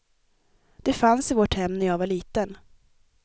Det fanns i vårt hem när jag var liten.